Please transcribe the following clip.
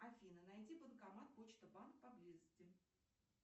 афина найди банкомат почта банк поблизости